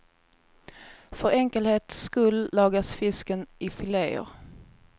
För enkelhets skull lagas fisken i fileer.